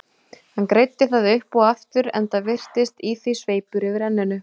Hann greiddi það upp og aftur, enda virtist í því sveipur yfir enninu.